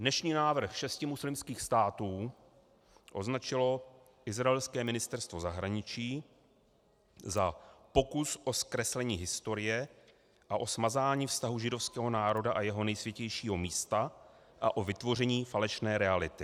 Dnešní návrh šesti muslimských států označilo izraelské ministerstvo zahraničí za pokus o zkreslení historie a o smazání vztahu židovského národa a jeho nejsvětějšího místa a o vytvoření falešné reality.